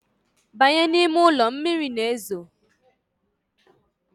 Banye! ni ime uli, mmiri na ezo